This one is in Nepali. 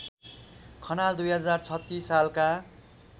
खनाल २०३६ सालका